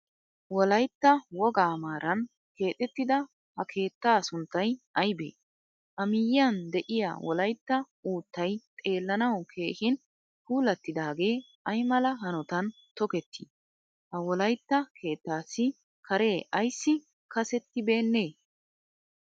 Wolaytta wogaa maran keexettida ha keettaa sunttay aybe? A miyiyan deiyaa wolaytta uuttay xeelanawu keehin puulattidage aymala hanottan tokketti? Ha wolaytta keettaasi kare aysi kassettibene?